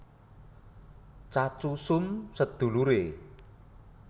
Tjan Tjoe Som seduluré